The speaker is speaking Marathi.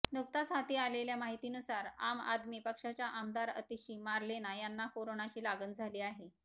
नुकताच हाती आलेल्या माहितीनुसार आम आदमी पक्षाच्या आमदार आतिशी मार्लेना यांना कोरोनाची लागण झाली आहे